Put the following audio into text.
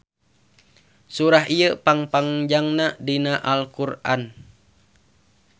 Surah ieu pang panjangna dina Al Qur'an.